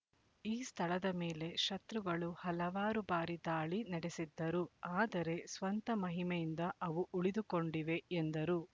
ಈ ಸ್ಥಳದ ಮೇಲೆ ಶತ್ರುಗಳು ಹಲವಾರು ಬಾರಿ ದಾಳಿ ನಡೆಸಿದ್ದರು ಆದರೆ ಸ್ವಂತ ಮಹಿಮೆಯಿಂದ ಅವು ಉಳಿದುಕೊಂಡಿವೆ ಎಂದರು